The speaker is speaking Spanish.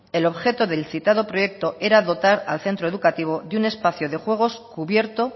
el objeto del citado proyecto era dotar al centro educativo de un espacio de juegos cubierto